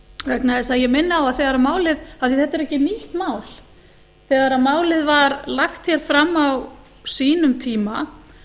vegna þess að ég minni á að þegar málið af því þetta er ekki nýtt mál þegar málið var lagt hér fram á sínum tíma